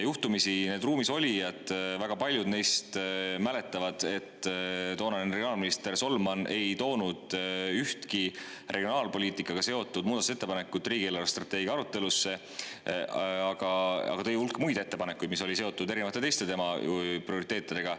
Juhtumisi väga paljud ruumis olijatest mäletavad, et toonane regionaal minister Solman ei toonud ühtki regionaalpoliitikaga seotud muudatusettepanekut riigi eelarvestrateegia arutelule, kuid tõi hulga muid ettepanekuid, mis olid seotud tema erinevate teiste prioriteetidega.